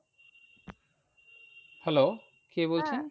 Hello কে বলছেন?